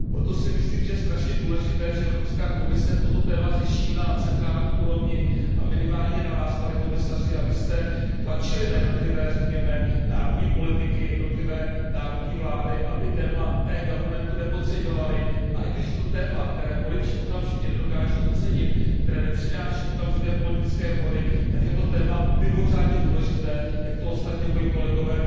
Proto si myslím, že je strašně důležité, že Evropská komise toto téma řeší na centrální úrovni a je minimálně na vás, pane komisaři, abyste tlačili na jednotlivé, řekněme národní politiky, jednotlivé národní vlády, aby téma eGovernmentu nepodceňovali, a i když je to téma, které voliči okamžitě nedokáží ocenit, které nepřináší okamžité politické body, tak je to téma mimořádně důležité, jak tu ostatně moji kolegové